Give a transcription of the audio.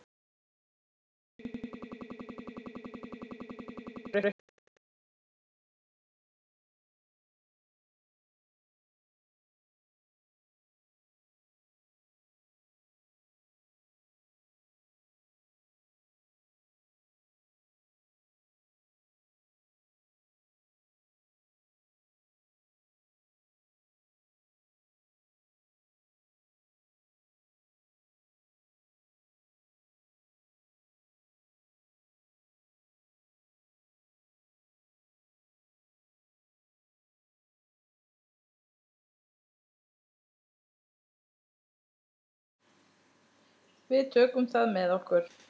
Við tökum það með okkur.